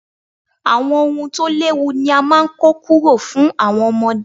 Àwọn ohun tó léwu ni a máa ń kọ́ kúrò fún àwọn ọmọdé.